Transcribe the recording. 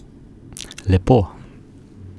Lepo.